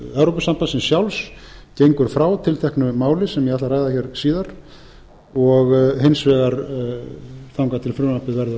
evrópusambandsins sjálfs gengur frá tilteknu máli sem ég ætla að ræða síðar og hins vegar þangað til frumvarpið verður